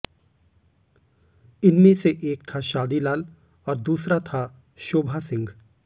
इनमें से एक था शादी लाल और दूसरा था शोभा सिंह